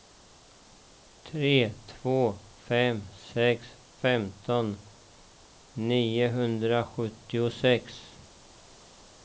tre två fem sex femton niohundrasjuttiosex